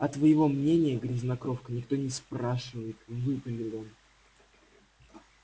а твоего мнения грязнокровка никто не спрашивает выпалил он